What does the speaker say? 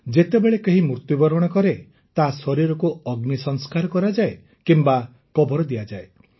ଯେତେବେଳେ କେହି ମୃତ୍ୟବରଣ କରେ ତା ଶରୀରକୁ ଅଗ୍ନି ସଂସ୍କାର କରାଯାଏ କିମ୍ବା କବର ଦିଆଯାଏ